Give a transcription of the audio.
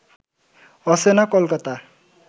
অচেনা কলকাতা